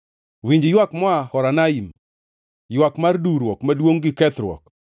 Winj ywak moa Horonaim, ywak mar duwruok maduongʼ gi kethruok.